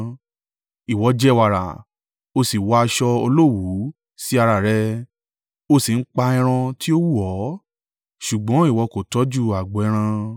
Ìwọ jẹ wàrà. O sì wọ aṣọ olówùú sí ara rẹ, o sì ń pa ẹran tí ó wù ọ́, ṣùgbọ́n ìwọ kò tọ́jú agbo ẹran.